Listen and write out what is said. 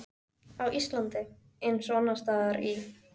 Á Íslandi, eins og annars staðar í